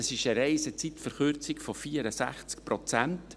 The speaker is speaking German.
Das ist eine Reisezeitverkürzung von 64 Prozent.